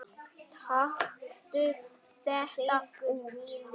Taktu þetta út